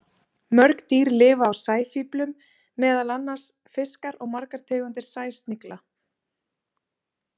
Mörg dýr lifa á sæfíflum, meðal annars fiskar og margar tegundir sæsnigla.